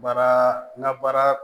Baara ŋa baara